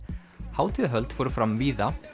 hátíðahöld fóru fram víða